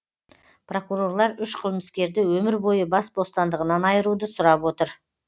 прокурорлар үш қылмыскерді өмір бойы бас бостандығынан айыруды сұрап отыр